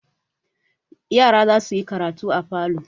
Yara za su yi karatu a falo.